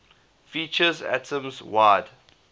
features atoms wide